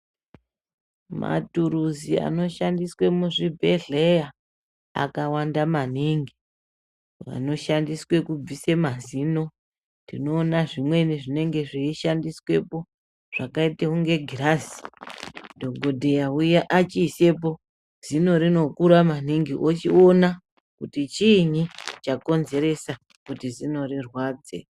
Maturuzi anoshandiswe muzvibhedhleya akawanda maningi panoshandiswe kubvise mazino tinoona zvimweni zvinenge zvechishandiswepo zvakaite kunge girazi dhokodheya uya achiisepo zino rinokura maningi ochiona kuti chiinyi chakonzeresa kuti zino rirwadze.